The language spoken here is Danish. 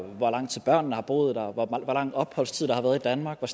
hvor lang tid børnene har boet her og hvor lang opholdstid der har været i danmark og